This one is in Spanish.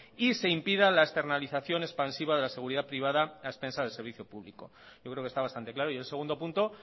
y se impide la externalización expansiva de la seguridad privada a expensa del servicio público yo creo que está bastante claro y el segundo punto